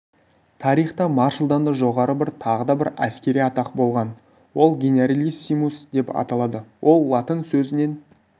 тарихта маршалдан да жоғары тағы бір әскери атақ болған ол генералиссимус деп аталады бұл латын сөзінен